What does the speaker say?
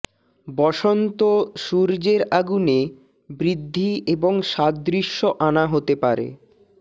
বসন্ত সূর্যের আগুনে বৃদ্ধি এবং সাদৃশ্য আনা হতে পারে